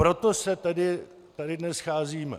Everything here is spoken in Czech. Proto se tady dnes scházíme.